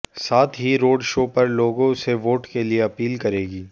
साथ ही road show कर लोगों से वोट के लिए अपील करेगी